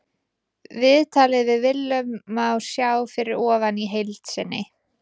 Viðtalið við Willum má sjá fyrir ofan í heild sinni.